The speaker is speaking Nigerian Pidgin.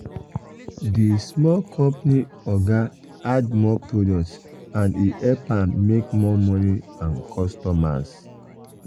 the small company oga add more product and e help am make more money and customers.